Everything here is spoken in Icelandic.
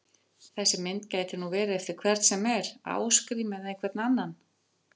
Þessi mynd gæti nú verið eftir hvern sem er, Ásgrím eða einhvern annan!